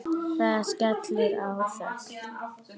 Það skellur á þögn.